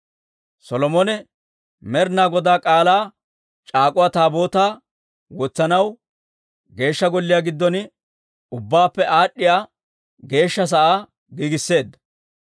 Solomone Med'inaa Godaa K'aalaa c'aak'uwa Taabootaa wotsanaw Geeshsha Golliyaa giddon ubbaappe Aad'd'iyaa Geeshsha sa'aa giigisseedda.